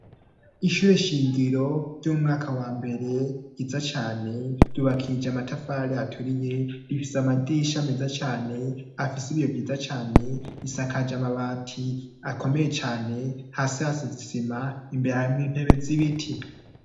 Ishure shingiro ry'umwaka wa mbere, ryiza cane, ryubakishije amatafari aturiye, rifise amadisha meza cane, afise ibiyo vyiza cane, isakaje amabati akomeye cane, hasi hasize isima, imbere harimwo intebe z'ibiti.